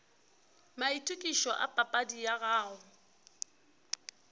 maitokišo a papadi ya gago